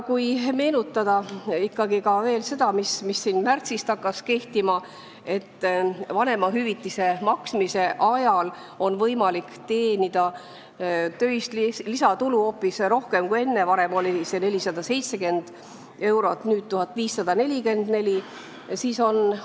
Meenutame ikkagi veel seda, mis märtsist kehtima hakkas: vanemahüvitise maksmise ajal on võimalik teenida töist lisatulu hoopis rohkem kui enne, varem oli see summa 470, nüüd 1544 eurot.